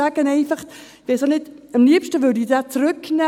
Am liebsten würde ich ihn zurücknehmen.